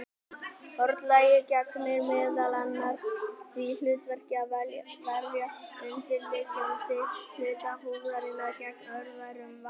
Hornlagið gegnir meðal annars því hlutverki að verja undirliggjandi hluta húðarinnar gegn örverum og vatni.